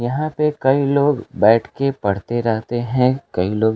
यहां पे कई लोग बैठके पढ़ते रहते है कई लोग।